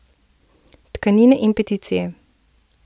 Tkanine in peticije.